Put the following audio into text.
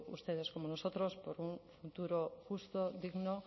ustedes como nosotros por un futuro justo digno